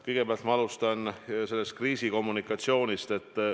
Kõigepealt ma alustan kriisikommunikatsioonist.